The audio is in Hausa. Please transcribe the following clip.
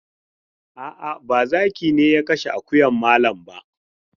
A'a, ba zaki ne ya kashe akuyan malam ba.